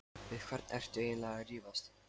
Við hvern ertu eiginlega að rífast?